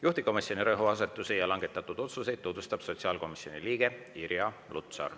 Juhtivkomisjoni rõhuasetusi ja langetatud otsuseid tutvustab meile sotsiaalkomisjoni liige Irja Lutsar.